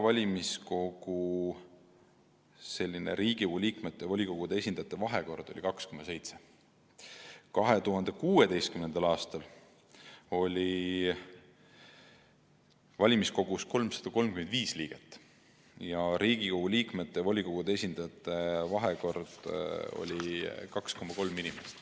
Riigikogu liikmete ja volikogude esindajate vahekord oli valimiskogus 2,7 : 1. Aastal 2016 oli valimiskogus 335 liiget ning Riigikogu liikmete ja volikogude esindajate vahekord oli 2,3 : 1.